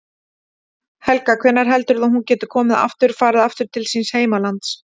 Helga: Hvenær heldurðu að hún geti komið aftur, farið aftur til síns heimalands?